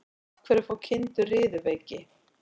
Af hverju fá kindur riðuveiki?